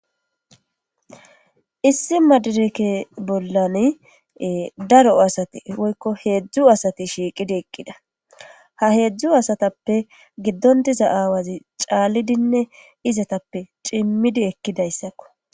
issi madireke bollan daro asati woykko heedzdzu asati shiiqidi eqqida ha heedzdzu asatappe giddon diza aawazi caallidinne izatappe cimmidi ekkidayssakko